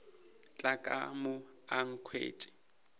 tla ka mo a nkhwetša